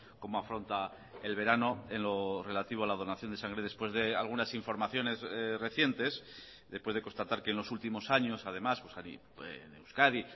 cómo afronta el verano en lo relativo a la donación de sangre después de algunas informaciones recientes después de constatar que en los últimos años además en euskadi